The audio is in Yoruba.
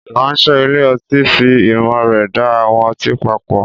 Ìránṣẹ́ ilé ọtí fi ìmọ̀ rẹ̀ da àwọn ọtí papọ̀.